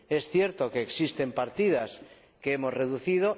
Es cierto que existen partidas que hemos reducido.